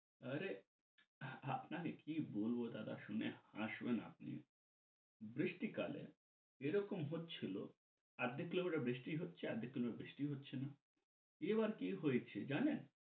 আরে আপনারে কি বলব দাদা শুনে হাসবেন আপনি, বৃষ্টি কালে এরকম হচ্ছিল আর্ধেক কিলোমিটার বৃষ্টি হচ্ছে আর্ধেক কিলোমিটার বৃষ্টি হচ্ছে না। এবার কি হয়েছে জানেন?